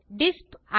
டிஸ்ப் இ